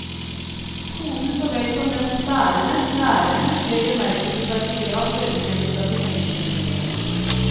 Skolen så vel som dens bærere, lærerne, ble i bemerkelsesverdig grad løsrevet fra sin egen historie.